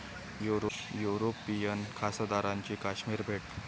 European खासदारांची काश्मीर भेट